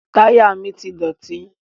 Táyà mi ti dọ̀tí.